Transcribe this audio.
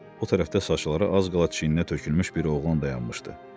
O tərəfdə saçları az qala çiyninə tökülmüş bir oğlan dayanmışdı.